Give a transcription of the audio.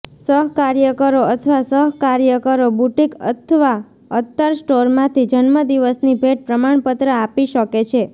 સહકાર્યકરો અથવા સહકાર્યકરો બુટીક અથવા અત્તર સ્ટોરમાંથી જન્મદિવસની ભેટ પ્રમાણપત્ર આપી શકે છે